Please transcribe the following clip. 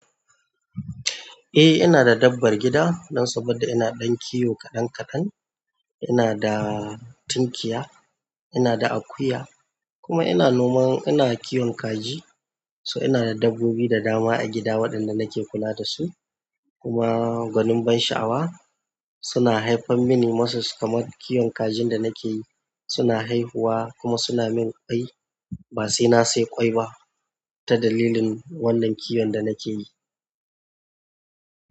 Eh ina da dabbar gida don saboda ina ɗan kiwo kaɗan kaɗan. Ina da tunkiya, ina da akuya kuma ina noman ina kiwon kaji. So ina da dabbobi da dama a gida waɗanda nake kula dasu. Kuma gwanin ban sha'awa, suna haifar mini kamar kiwon kajin da nake yi suna haihuwa kuma suna min ƙwai ba sai na sai ƙwai ba ta dalilin wannan kiwon da nake yi.